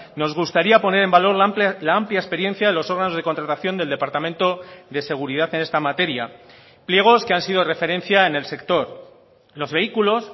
nos gustaría poner en valor la amplia experiencia de los órganos de contratación del departamento de seguridad en esta materia pliegos que han sido referencia en el sector los vehículos